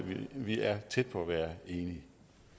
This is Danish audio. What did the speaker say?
vi er tæt på at være enige